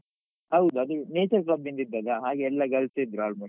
ಹೌದು ಅದು nature club ಇಂದ ಇದ್ದದ್ದ ಹಾಗೆ ಎಲ್ಲಾ girls ಎ ಇದ್ರು almost .